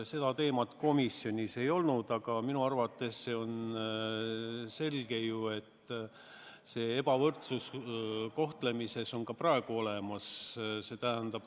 See teema komisjonis arutusel ei olnud, aga minu arvates on selge, et see ebavõrdsus kohtlemises on ka praegu olemas.